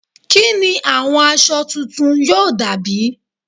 Kí ni àwọn aṣọ tuntun yóò dà bí?